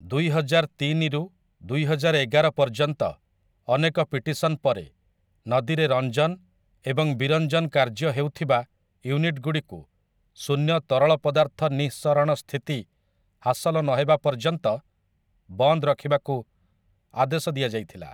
ଦୁଇହଜାର ତିନିରୁ ଦୁଇହଜାର ଏଗାର ପର୍ଯ୍ୟନ୍ତ ଅନେକ ପିଟିସନ୍‌ ପରେ, ନଦୀରେ ରଞ୍ଜନ ଏବଂ ବିରଞ୍ଜନ କାର୍ଯ୍ୟ ହେଉଥିବା ୟୁନିଟଗୁଡ଼ିକୁ ଶୂନ୍ୟ ତରଳ ପଦାର୍ଥ ନିଃସରଣ ସ୍ଥିତି ହାସଲ ନହେବା ପର୍ଯ୍ୟନ୍ତ ବନ୍ଦ ରଖିବାକୁ ଆଦେଶ ଦିଆଯାଇଥିଲା ।